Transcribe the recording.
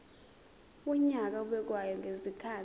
wonyaka obekwayo ngezikhathi